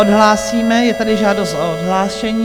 Odhlásíme, je tady žádost o odhlášení.